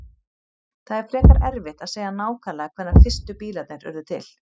Það er frekar erfitt að segja nákvæmlega hvenær fyrstu bílarnir urðu til.